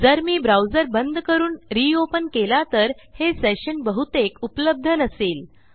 जर मी ब्राउझर बंद करून रियोपेन केला तर हे सेशन बहुतेक उपलब्ध नसेल